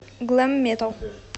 глэм метал